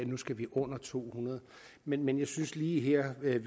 nu skal vi under to hundrede men men jeg synes lige her ved